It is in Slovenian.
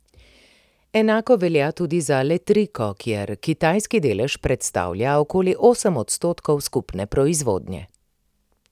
Enako velja tudi za Letriko, kjer kitajski delež predstavlja okoli osem odstotkov skupne proizvodnje.